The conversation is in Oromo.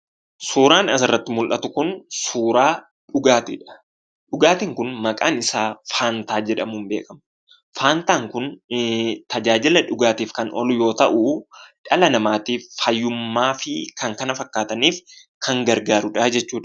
Suuraan asirratti mul'atu kun, suuraa dhugaatiidha. dhugaatin kun, maaqan isaa faantaa jedhama. faantaan kun, tajaajila dhugaatiif kan, oolu yoo ta'u, dhala namaatiif faayyumadhafi kan, kana, fakkataniif kan, ooluudha.